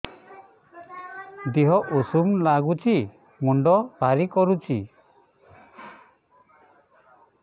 ଦିହ ଉଷୁମ ନାଗୁଚି ମୁଣ୍ଡ ଭାରି କରୁଚି